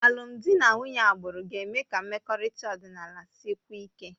Alụmdi na nwunye agbụrụ ga-eme ka mmekọrịta ọdịnala sikwuo ike